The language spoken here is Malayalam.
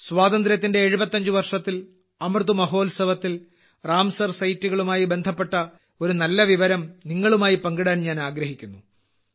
സ്വാതന്ത്ര്യത്തിന്റെ 75 വർഷത്തിൽ അമൃത് മഹോത്സവത്തിൽ റാംസർ സൈറ്റുകളുമായി ബന്ധപ്പെട്ട ഒരു നല്ല വിവരം നിങ്ങളുമായി പങ്കിടാൻ ഞാൻ ആഗ്രഹിക്കുന്നു